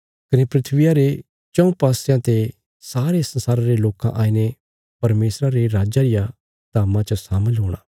कने धरतिया रे चऊँ पासयां ते सारे संसारा रे लोकां आईने परमेशरा रे राज्जा रिया धाम्मा च शामल हूणा